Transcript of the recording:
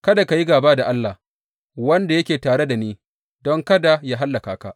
Kada ka yi gāba da Allah, wanda yake tare da ni, don kada yă hallaka ka.